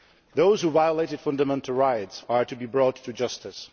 Those who violated fundamental rights are to be brought to justice.